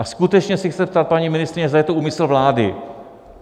A skutečně se chci zeptat paní ministryně, zda je to úmysl vlády.